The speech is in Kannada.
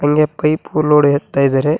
ಹಂಗೆ ಪೈಪು ಲೋಡ್ ಎತ್ತಾ ಇದ್ದಾರೆ.